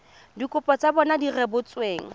dikopo tsa bona di rebotsweng